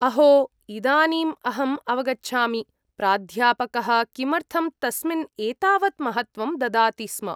अहो, इदानीम् अहम् अवगच्छामि प्राध्यापकः किमर्थं तस्मिन् एतावत् महत्वं ददाति स्म।